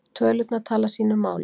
Tölurnar tala sínu máli